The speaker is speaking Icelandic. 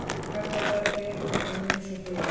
Garðabær, byggð milli hrauns og hlíða.